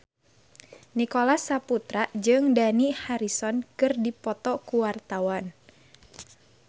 Nicholas Saputra jeung Dani Harrison keur dipoto ku wartawan